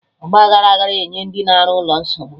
Ọgba aghara agaghị enye ndị na-arụ ụlọ nsogbu